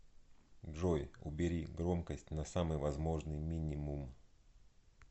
джой убери громкость на самый возможный мининум